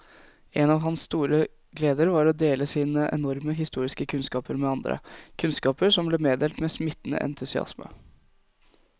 En av hans store gleder var å dele sine enorme historiske kunnskaper med andre, kunnskaper som ble meddelt med smittende entusiasme.